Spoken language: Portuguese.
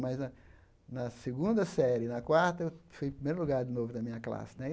Mas, na na segunda série e na quarta, eu fui em primeiro lugar de novo na minha classe né.